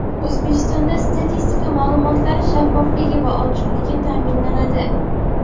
O‘zbekistonda statistika ma’lumotlari shaffofligi va ochiqligi ta’minlanadi.